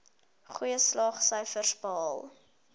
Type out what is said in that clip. goeie slaagsyfers behaal